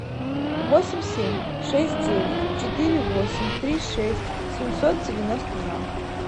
восемь семь шесть девять четыре восемь три шесть семьсот девяносто два